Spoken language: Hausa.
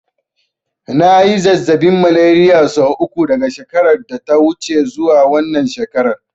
Na yi zazzaɓin Malariya sau uku daga shekarar da ta wuce zuwa wannan shekarar.